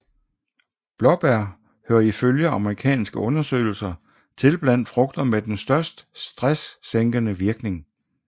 Blåbær hører ifølge amerikanske undersøgelser til blandt frugter med den største stresssænkende virkning